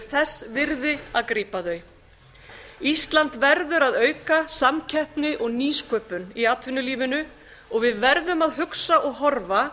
þess virði að grípa þau ísland verður að auka samkeppni og nýsköpun í atvinnulífinu við verðum að hugsa og horfa